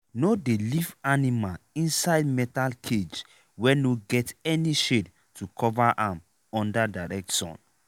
no dey leave animal inside metal cage wey no get any shade to cover am under direct sun.